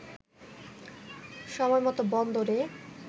সময়মত বন্দরে